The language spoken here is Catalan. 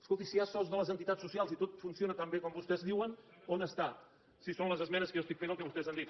escolti si hi ha sos de les entitats socials i tot funciona tan bé com vostès diuen on està si són les esmenes que jo estic fent al que vostès han dit